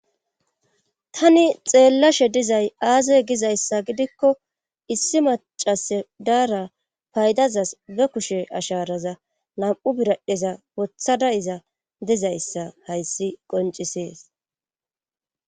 tani xeellashe dizay aaze gizayssa gidikko issi macas daara paydazas be kushe asharaza lam7u biradheza wothada iza dizayssa hayssi qoncisees